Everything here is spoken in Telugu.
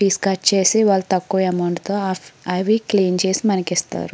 పీసెస్ కట్ చేసి వాళ్ళు తక్కువ అమౌంట్ తో అవి క్లీన్ చేసి మనకి ఇస్తారు.